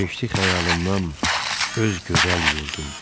Keçdi xəyalımdan öz gözəl yurdum.